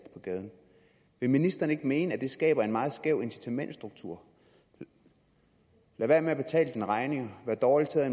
på gaden vil ministeren ikke mene at det skaber en meget skæv incitamentsstruktur lad være med at betale dine regninger vær dårlig til at